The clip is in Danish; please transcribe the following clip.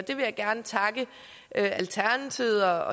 jeg vil gerne takke alternativet og